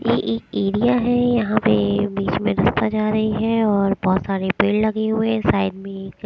ये एक एरिया है यहां पे बीच में रस्ता जा रही है और बहोत सारे पेड़ लगे हुए साइड में एक --